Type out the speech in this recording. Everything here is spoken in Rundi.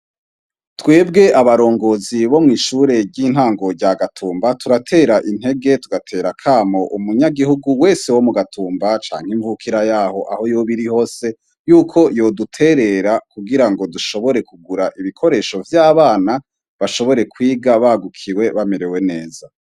Twebwe abarongozi bo mw'ishure ry'intango rya Gatumba turatera intege tugatera akamo umunyagihugu wese wo m Gatumba canke imvukira yaho aho yoba iri hose yuko yoduterera kugirango dushobore kugura ibikoresho vy'abana bashobore kwiga bagukiwe bamerewe neza.